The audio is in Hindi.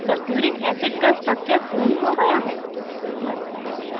sulphuric acid का structure पूर्ण हो गया है